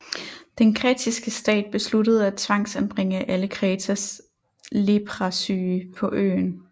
Den Kretiske stat besluttede at tvangsanbringe alle Kretas Leprasyge på øen